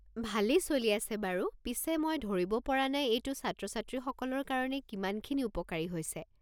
ভালে চলি আছে বাৰু, পিছে মই ধৰিব পৰা নাই এইটো ছাত্ৰ-ছাত্ৰীসকলৰ কাৰণে কিমানখিনি উপকাৰী হৈছে।